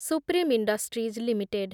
supreme industries limited